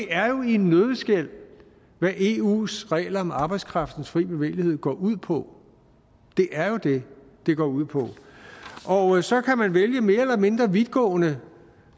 er jo i en nøddeskal hvad eus regler om arbejdskraftens frie bevægelighed går ud på det er jo det det går ud på så kan man vælge mere eller mindre vidtgående